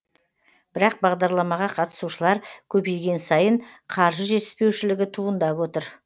бірақ бағдарламаға қатысушылар көбейген сайын қаржы жетіспеушілігі туындап отыр